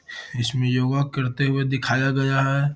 इसमें योगा करते हुए दिखाया गया है।